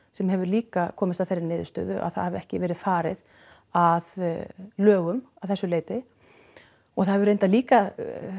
sem hefur líka komist að þeirri niðurstöðu að það hafi ekki verið farið að lögum að þessu leyti og það hefur reyndar líka